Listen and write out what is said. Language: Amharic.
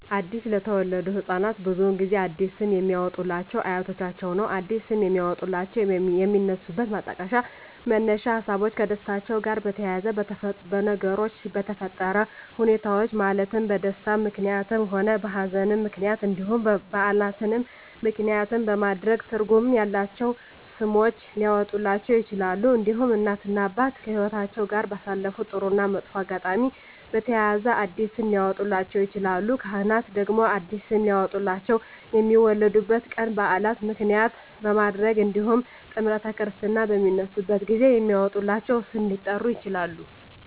አዲስ ለተወለዱ ህፃናት ብዙውን ጊዜ አዲስ ስም የሚያወጡሏቸው አያቶቻቸውን ነው አዲስ ስም የሚያወጧላቸው የሚነሱበት ማጣቀሻ መነሻ ሀሳቦች ከደስታቸው ጋር በተያያዘ በነገሮች በተፈጠረ ሁኔታዎች ማለትም በደስታም ምክንያትም ሆነ በሀዘንም ምክንያት እንዲሁም በዓላትን ምክንያትም በማድረግ ትርጉም ያላቸው ስሞች ሊያወጡላቸው ይችላሉ። እንዲሁም እናት እና አባት ከህይወትአቸው ጋር ባሳለፉት ጥሩ እና መጥፎ አጋጣሚ በተያያዘ አዲስ ስም ሊያወጡላቸው ይችላሉ። ካህናት ደግሞ አዲስ ስም ሊያወጡላቸው የሚወለዱበት ቀን በዓል ምክንያት በማድረግ እንዲሁም ጥምረተ ክርስትና በሚነሱበት ጊዜ በሚወጣላቸው ስም ሊጠሩ ይችላሉ።